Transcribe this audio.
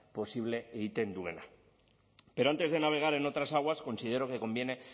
posible egiten duena pero antes de navegar en otras aguas considero que conviene